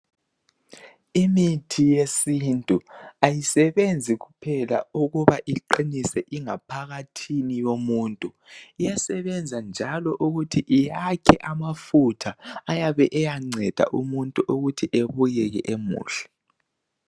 Imithi yesintu ayisebenzi kuphela ukuba iqinise ingaphakathini yomuntu, iyasebenza njalo ukuthi iyakhe amafutha ayabe eyanceda umuntu ukuthi ebukeke emuhle.